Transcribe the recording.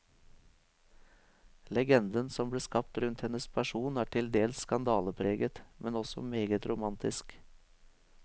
Legenden som ble skapt rundt hennes person er til dels skandalepreget, men også meget romantisk.